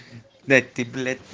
блять ты блять